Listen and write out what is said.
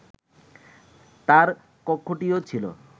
তার কক্ষটিও ছিল